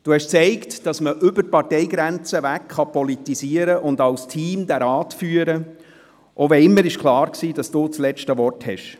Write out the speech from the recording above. Sie haben gezeigt, dass man über die Parteigrenzen hinweg politisieren und den Rat als Team führen kann, selbst wenn immer klar war, dass Sie das letzte Wort haben.